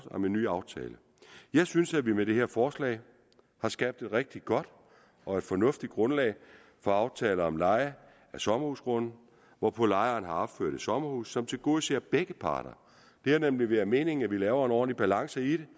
om en ny aftale jeg synes at vi med det her forslag har skabt et rigtig godt og fornuftigt grundlag for aftale om leje af sommerhusgrunde hvorpå lejeren har opført et sommerhus som tilgodeser begge parter det har nemlig været meningen at vi laver en ordentlig balance i det